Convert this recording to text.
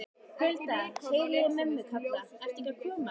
Hulda, heyri ég mömmu kalla, ertu ekki að koma?